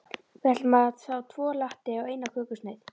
Við ætlum að fá tvo latte og eina kökusneið.